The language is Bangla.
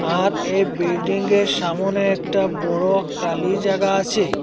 আর এই বিল্ডিংগের সামোনে একটা বড়ো কালি জাগা আছে।